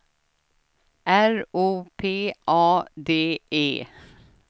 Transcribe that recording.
R O P A D E